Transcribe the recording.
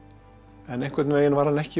en einhvern veginn var hann ekki við